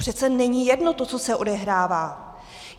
Přece není jedno to, co se odehrává.